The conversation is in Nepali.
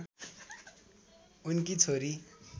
उनकी छोरी